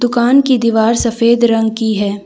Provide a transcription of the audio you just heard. दुकान की दीवार सफ़ेद रंग की है।